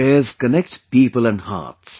Fairs connect people and hearts